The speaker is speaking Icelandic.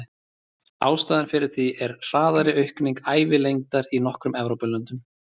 Ástæðan fyrir því er hraðari aukning ævilengdar í nokkrum Evrópulöndum.